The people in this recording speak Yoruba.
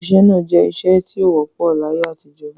Ìṣẹ̀ onà jẹ̀ ìṣẹ̀ tí o wọ̀pọ̀ l'ayé àtijọ